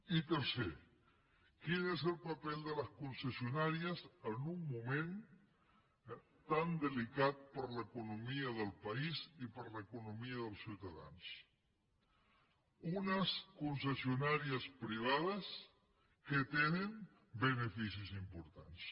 i tercer quin és el paper de les concessionàries en un moment tan delicat per a l’economia del país i per a l’economia dels ciutadans unes concessionàries privades que tenen beneficis importants